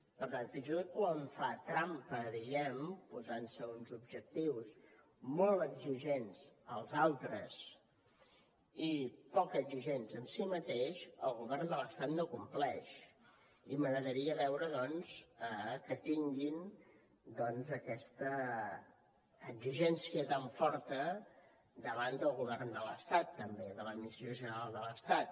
per tant fins i tot quan fa trampa diguem ne posant se uns objectius molt exigents als altres i poc exigents amb si mateix el govern de l’estat no compleix i m’agradaria veure doncs que tinguin aquesta exigència tan forta davant del govern de l’estat també de l’administració general de l’estat